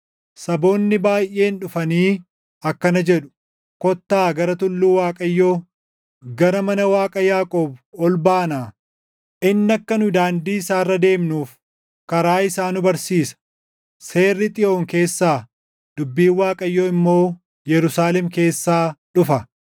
Saboonni baayʼeen dhufanii akkana jedhu; “Kottaa gara tulluu Waaqayyoo, gara mana Waaqa Yaaqoob ol baanaa. Inni akka nu daandii isaa irra deemnuuf karaa isaa nu barsiisa.” Seerri Xiyoon keessaa, dubbiin Waaqayyoo immoo Yerusaalem keessaa dhufa.